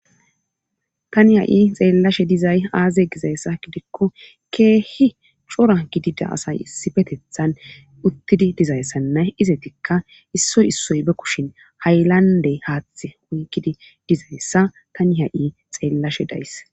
tani ha'i xeellashe dizay aaze gizayssa gidikko keehi cora gidida asay issipetethan uttidi dizayssanna izetikka issoy issoy be kushen haylande haaththe oykkidi dizayssa tani ha'i xeellashe days.